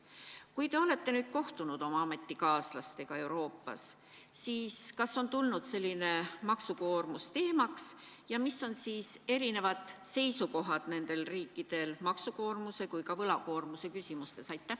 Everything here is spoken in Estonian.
Kui te olete kohtunud oma ametikaaslastega Euroopas, siis kas maksukoormus on tulnud teemaks ning mis on eri riikide seisukohad maksu- ja võlakoormuse küsimustes?